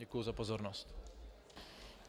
Děkuji za pozornost.